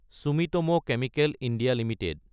Sumitomo chemical India Ltd